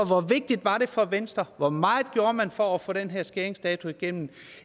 hvor vigtigt var det for venstre hvor meget gjorde man for at få den her skæringsdato igennem